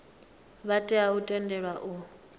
vha tea u tendelwa u